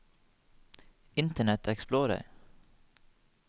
internet explorer